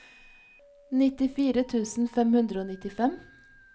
nittifire tusen fem hundre og nittifem